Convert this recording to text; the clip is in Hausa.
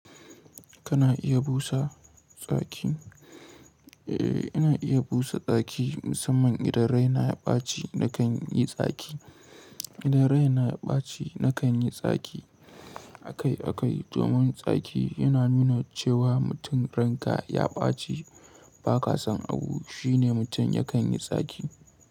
Kana iya busa tsaki? Eh, ina iya busa tsaki musamman idan rai na ya ɓaci na kan yi tsaki. Idan rai na ya ɓaci na kan yi tsaki akai-akai domin tsaki yana nuna cewa mutum ranka ya ɓaci ba ƙasan abu, shine mutum ya kan yi tsaki.